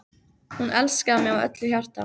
Hún elskaði mig af öllu hjarta.